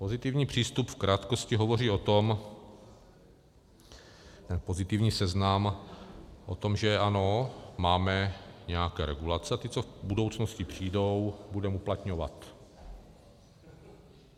Pozitivní přístup v krátkosti hovoří o tom, ten pozitivní seznam, o tom, že ano, máme nějaké regulace a ty, co v budoucnosti přijdou, budeme uplatňovat.